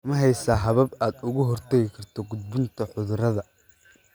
Ma haysaa habab aad uga hortagto gudbinta cudurrada?